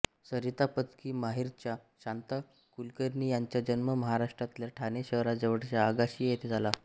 सरिता पदकी माहेरच्या शांता कुलकर्णी यांचा जन्म महाराष्ट्रातल्या ठाणे शहराजवळच्या आगाशी येथे झाला